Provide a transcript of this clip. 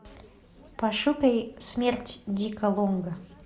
пошукай смерть дика лонга